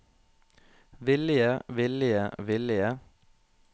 villige villige villige